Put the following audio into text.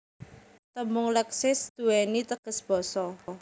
Tembung Leksis duwéni teges Basa